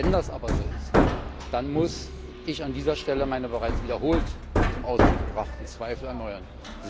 Wenn das aber so ist, dann muss ich an dieser Stelle meine bereits wiederholt zum Ausdruck gebrachten Zweifel erneuern.